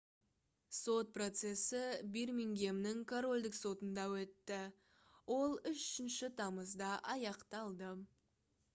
сот процесі бирмингемнің корольдік сотында өтті ол 3 тамызда аяқталды